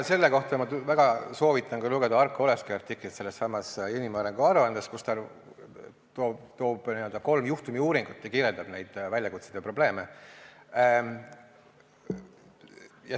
Selle kohta ma väga soovitan lugeda Arko Oleski artiklit sellessamas inimarengu aruandes, kus ta toob kolm juhtumiuuringut ja kirjeldab neid väljakutseid ja probleeme.